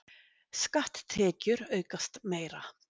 Skatttekjur aukast meira